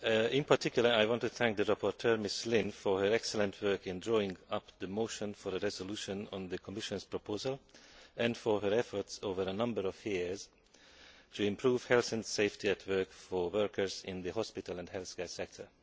In particular I want to thank the rapporteur, Mrs Lynne, for her excellent work in drawing up the motion for a resolution on the Commission's proposal and for her efforts over a number of years to improve health and safety at work for workers in the hospital and healthcare sector.